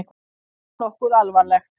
Var það nokkuð alvarlegt?